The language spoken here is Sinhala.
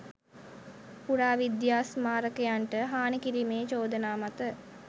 පුරාවිද්‍යා ස්මාරකයන්ට හානි කිරීමේ චෝදනා මත